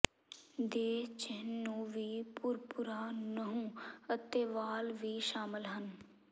ਦੇ ਚਿੰਨ੍ਹ ਨੂੰ ਵੀ ਭੁਰਭੁਰਾ ਨਹੁੰ ਅਤੇ ਵਾਲ ਵੀ ਸ਼ਾਮਲ ਹਨ